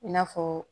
I n'a fɔ